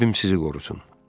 Rəbbim sizi qorusun.